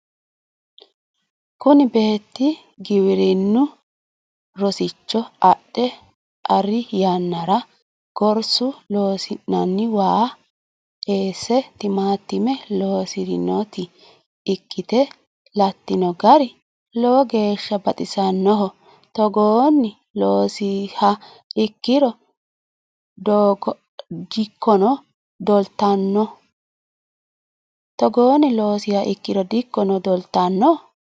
Kunni beeti giwirinunni rosicho adhe Ari yannara gorsu loosinni waa eese timaatime loosirinoti ikite Latino gari lowo geesha baxisanoho. Togoonni loonsiha ikiro dikono doltaabano.